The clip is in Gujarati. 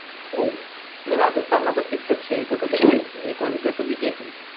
રાજસ્થાન માં તો fix છે નિકુંજ બીજેપી